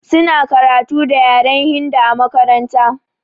Suna karatu da yaren hindu a makaranta.